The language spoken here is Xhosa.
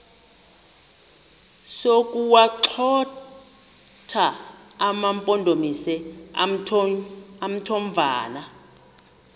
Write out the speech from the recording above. sokuwagxotha amampondomise omthonvama